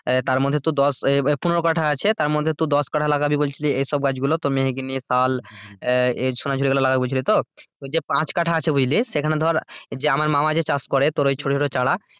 তার মধ্যে তোর দশ ওই পনেরো কাঠা আছে তারমধ্যে তুই দশকাঠা লাগাবি বলছিস এসব মেহগিনি, শাল, সোনাঝুরি এগুলো লাগাবি বলছিস তো? ওই যে পাঁচকাঠা আছে বুঝলি সেইখানে ধর আমার মামা যে চাষ করে তোর ওই ছোটো ছোটো চারা,